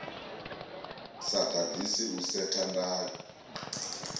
sa ḓaḓisi u setha ndayo